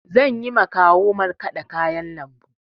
Zanyi ma kawu markaɗa kayan lambu.